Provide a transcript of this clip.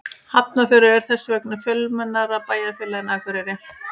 Hafnarfjörður er þess vegna fjölmennara bæjarfélag en Akureyri.